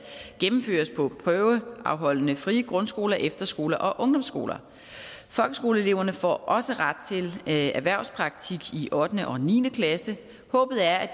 gennemføres på prøveafholdende frie grundskoler efterskoler og ungdomsskoler folkeskoleeleverne får også ret til erhvervspraktik i ottende og niende klasse håbet er at